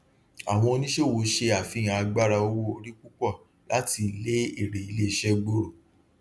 àwọn oníṣòwò ṣe àfihàn àgbára owóorí púpọ láti lé èrè iléiṣẹ gbòòrò